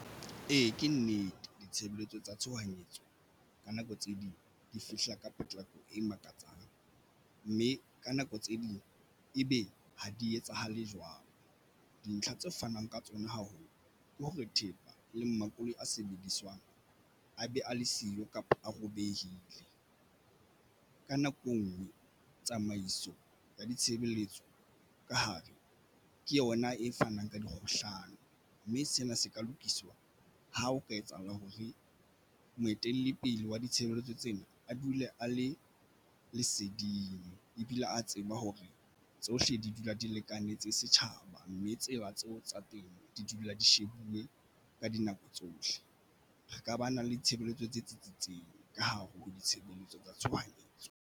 Ee, ke nnete ditshebeletso tsa tshohanyetso ka nako tse ding di fihla ka potlako e makatsang, mme ka nako tse ding e be ha di etsahale jwalo. Dintlha tse fanang ka tsona haholo ke hore thepa le makoloi a sebediswang a be a le siyo kapa a robehile. Ka nako e ngwe tsamaiso ya ditshebeletso ka hare ke yona e fanang ka dikgohlano, mme sena se ka lokiswa ha o ka etsahala hore moetelli pele wa ditshebeletso tsena a dule a le leseding ebile a tseba hore tsohle di dula di lekanetse setjhaba, mme tseba tseo tsa teng di dula di shebuwe ka dinako tsohle. Re ka ba na le ditshebeletso tse tsitsitseng ka hare ho ditshebeletso tsa tshohanyetso.